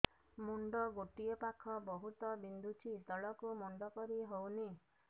ମୁଣ୍ଡ ଗୋଟିଏ ପାଖ ବହୁତୁ ବିନ୍ଧୁଛି ତଳକୁ ମୁଣ୍ଡ କରି ହଉନି